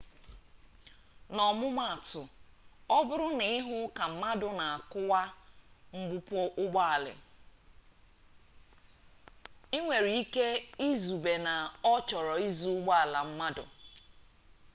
n'ọmụmatụ ọbụrụ na ị hụ ka mmadụ na akụwa mgbupu ụgbọala ị nwere ike izube na ọ chọrọ izu ụgbọala mmadụ